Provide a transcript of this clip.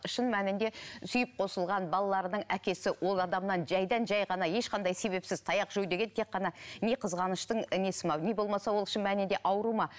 шын мәнінде сүйіп қосылған балаларының әкесі ол адамнан жайдан жай ғана ешқандай себепсіз таяқ жеу деген тек қана не қызғаныштың несі ме не болмаса ол шын мәнінде ауру ма